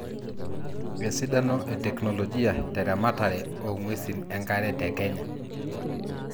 esidano e teknologia te ramatare oong'uesin enkare te Kenya